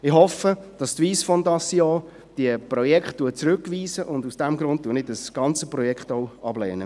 Ich hoffe, dass die Wyss Foundation diese Projekte zurückweist, und aus diesem Grund lehne ich das ganze Projekt auch ab.